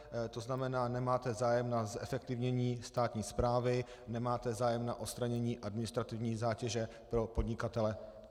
To znamená, nemáte zájem na zefektivnění státní správy, nemáte zájem na odstranění administrativní zátěže pro podnikatele.